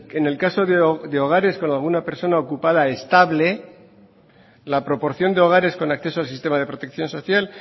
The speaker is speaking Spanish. en el caso de hogares con alguna persona ocupada estable la proporción de hogares con acceso al sistema de protección social